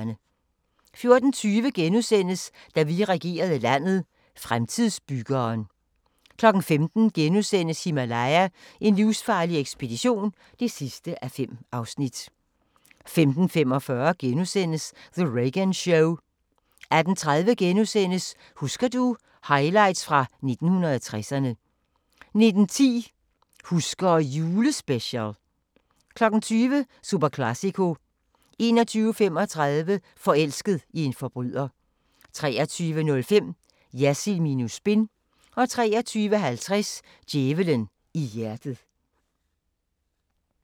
14:20: Da vi regerede landet – Fremtidsbyggeren * 15:00: Himalaya: En livsfarlig ekspedition (5:5)* 15:45: The Reagan Show * 18:30: Husker du – Highlights fra 1960'erne * 19:10: Husker ... julespecial 20:00: Superclàsico 21:35: Forelsket i en forbryder 23:05: Jersild minus spin 23:50: Djævelen i hjertet